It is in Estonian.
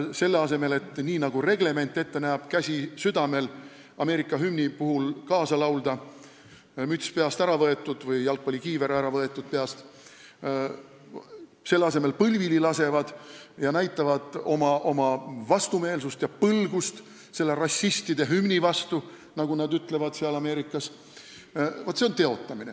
Selle asemel et teha nii, nagu reglement ette näeb – hümni puhul kaasa laulda, käsi südamel, müts või jalgpallikiiver peast ära võetud –, lasevad nad põlvili ning näitavad oma vastumeelsust ja põlgust selle rassistide hümni vastu, nagu nad seal Ameerikas ütlevad.